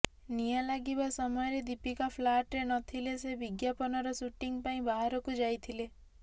ନିଆଁ ଲାଗିବା ସମୟରେ ଦୀପିକା ପ୍ଲାଟରେ ନଥିଲେ ସେ ବିଜ୍ଞାପନର ସୁଟିଂ ପାଇଁ ବାହାରକୁ ଯାଇଥିଲେ